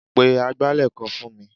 Pe agbálẹ̀ kan fún mi.